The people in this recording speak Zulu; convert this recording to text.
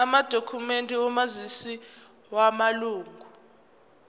amadokhumende omazisi wamalunga